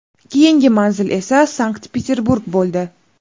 Keyingi manzil esa Sankt-Peterburg bo‘ldi.